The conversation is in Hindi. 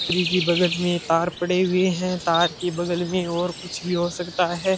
त्रि की बगल में तार पड़े हुए हैं तार की बगल में और कुछ भी हो सकता है।